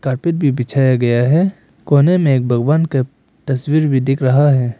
Carpet भी बिछाया गया है कोने में एक भगवान के तस्वीर भी दिख रहा है।